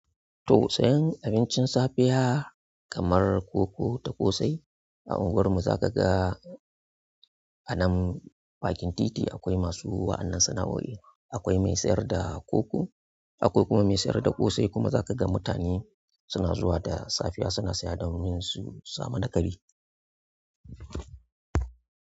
To siyan abincin safiya kamar koko da ƙosai a unguwar mu, zakaga anan bakin titi akwai masu waƴannan sana'oin. Akwai mai sayar da koko, akwai kuma mai sayar da ƙosai kuma za ka ga mutane suna zuwa da safiya suna saya domin su samu na ƙari.